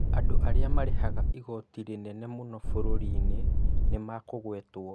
Andũ arĩa marĩhaga igoti rĩnene mũno bũrũri-inĩ nĩmekũgwetwo